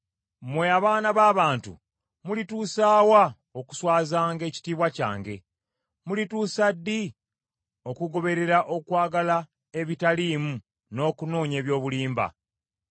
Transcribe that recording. Mmwe abaana b’abantu, mulituusa wa okuswazanga ekitiibwa kyange? Mulituusa ddi okugoberera okwagala ebitaliimu, n’okunoonya eby’obulimba?